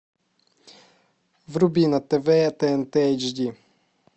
вруби на тв тнт эйч ди